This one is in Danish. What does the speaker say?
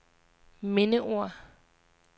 mindeord